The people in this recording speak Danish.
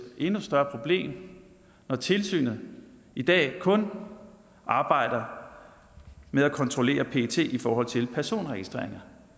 endnu større problem når tilsynet i dag kun arbejder med at kontrollere pet i forhold til personregistreringer